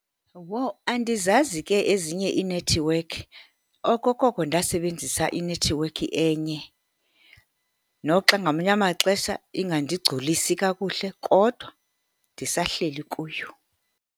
Uwho! Andizazi ke ezinye iinethiwekhi. Okokoko ndasebenzisa inethiwekhi enye, noxa ngamanye amaxesha ingandigcolisi kakuhle, kodwa ndisahleli kuyo.